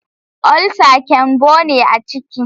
ulsa kyanbo ne a ciki